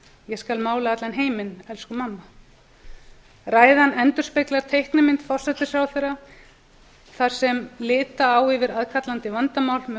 ég skal mála allan heiminn elsku mamma ræðan endurspeglar teiknimynd forsætisráðherra þar sem lita á yfir aðkallandi vandamál með